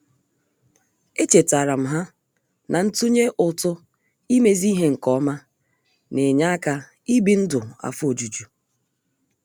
Echetaram ha na-ntunye ụtụ imezi ihe nke ọma na -enye aka ị bi ndụ afọ ojuju